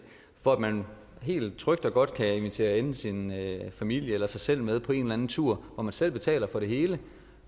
for at man helt trygt og godt kan invitere enten sin familie eller sig selv med på en eller en tur hvor man selv betaler for det hele